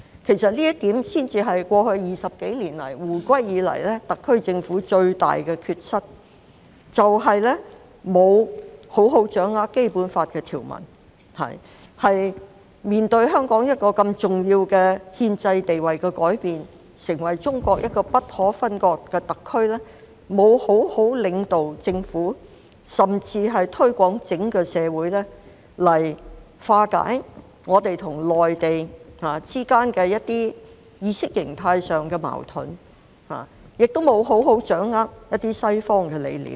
其實，這一點才是過去20多年來，自香港回歸以來特區政府最大的缺失，就是沒有好好掌握《基本法》的條文；當面對香港一個如此重要的憲制地位改變，成為中國一個不可分割的特區，沒有好好領導公務員團隊，甚至是在整個社會上作出推廣，來化解我們與內地之間在一些意識形態上的矛盾；亦沒有好好掌握一些西方理念。